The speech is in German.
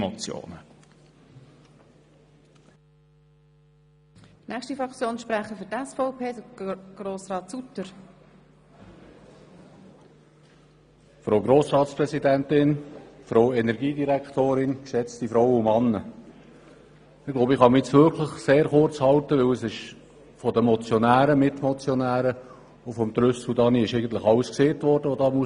Ich denke, ich kann mich sehr kurz fassen, denn es wurde von den Motionären und Mitmotionären sowie von Daniel Trüssel alles gesagt, was gesagt werden muss.